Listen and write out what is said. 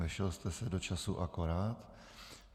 Vešel jste se do času akorát.